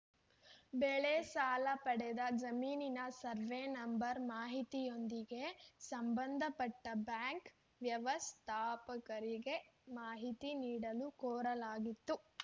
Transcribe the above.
ಬೆಳೆ ಸಾಲ ಪಡೆದ ಜಮೀನಿನ ಸರ್ವೇ ನಂಬರ್‌ ಮಾಹಿತಿಯೊಂದಿಗೆ ಸಂಬಂಧಪಟ್ಟಬ್ಯಾಂಕ್‌ ವ್ಯವಸ್ಥಾಪಕರಿಗೆ ಮಾಹಿತಿ ನೀಡಲು ಕೋರಲಾಗಿತ್ತು